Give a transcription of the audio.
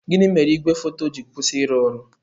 Gịnị mere igwe foto ji kwụsị ịrụ ọrụ?